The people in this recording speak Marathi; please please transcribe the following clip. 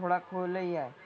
थोडा खोलही आहे.